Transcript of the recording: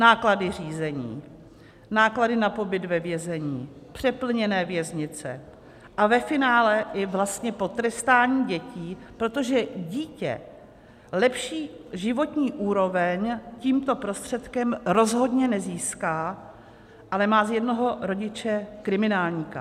Náklady řízení, náklady na pobyt ve vězení, přeplněné věznice a ve finále i vlastně potrestání dětí, protože dítě lepší životní úroveň tímto prostředkem rozhodně nezíská, ale má z jednoho rodiče kriminálníka.